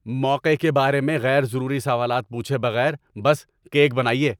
موقعے کے بارے میں غیر ضروری سوالات پوچھے بغیر بس کیک بنائیے۔